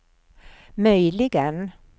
möjligen